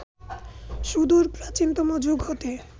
সুদূর প্রাচীনতম যুগ হতে